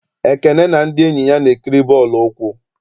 Ekene na ndị enyi ya na-ekiri bọọlụ ụkwụ.